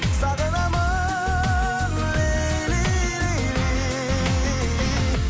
сағынамын лейли лейли